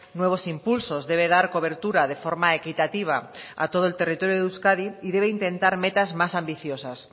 nuevos impulsos debe dar cobertura de forma equitativa a todo el territorio de euskadi y debe intentar metas más ambiciosas